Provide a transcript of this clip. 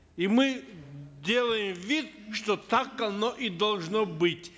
и мы делаем вид что так оно и должно быть